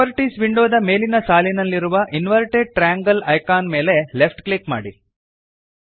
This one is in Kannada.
ಪ್ರಾಪರ್ಟೀಸ್ ವಿಂಡೋದ ಮೇಲಿನ ಸಾಲಿನಲ್ಲಿರುವ ಇನ್ವರ್ಟೆಡ್ ಟ್ರಯಾಂಗಲ್ ಐಕಾನ್ ಮೇಲೆ ಲೆಫ್ಟ್ ಕ್ಲಿಕ್ ಮಾಡಿರಿ